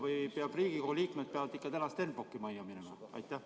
Või peavad Riigikogu liikmed täna ikka Stenbocki majja minema?